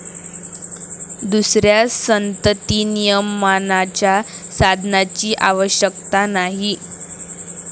दुसऱ्या संततिनियमनाच्या साधनाची आवश्यकता नाही.